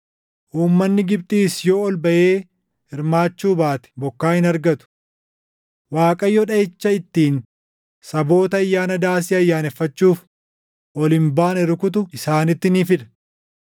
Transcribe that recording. Uummanni Gibxiis yoo ol baʼee hirmaachuu baate bokkaa hin argatu. Waaqayyo dhaʼicha ittiin saboota Ayyaana Daasii ayyaaneffachuuf ol hin baane rukutu isaanitti ni fida.